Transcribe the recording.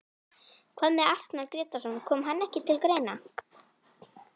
Hvað með Arnar Grétarsson, kom hann ekki til greina?